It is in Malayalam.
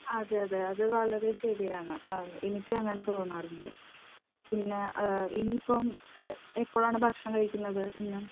അതെ അതെ. അത് വളരെ ശരിയാണ് എനിക്കും അങ്ങനെ തോന്നാറുണ്ട്. പിന്നെ ഇനിയിപ്പോൾ എപ്പോഴാണ് ഭക്ഷണം കഴിക്കുന്നത് ഇന്ന്?